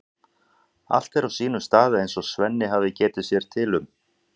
Allt er á sínum stað eins og Svenni hafði getið sér til um.